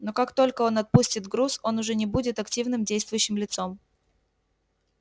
но как только он отпустит груз он уже не будет активным действующим лицом